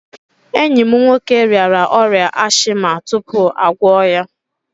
Enyi m nwoke rịara ọrịa ashịma tupu a gwọ ya.